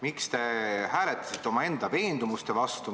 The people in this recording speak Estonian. Miks te hääletasite omaenda veendumuste vastu?